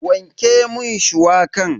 Wanke mun shuwakan.